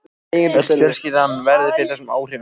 Öll fjölskyldan verður fyrir áhrifum þessa.